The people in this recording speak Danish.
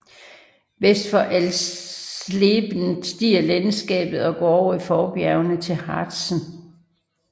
Vest for Alsleben stiger landskabet og går over i forbjergene til Harzen